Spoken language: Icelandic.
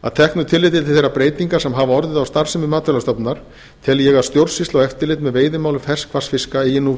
að teknu tilliti til þeirra breytinga sem hafa orðið á starfsemi matvælastofnunar tel ég að stjórnsýsla og eftirlit með veiðimálum ferskvatnsfiska eigi nú